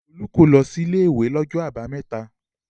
Olú kò lọ sí ilé-ìwé lọ́jọ́ àbámẹ́ta.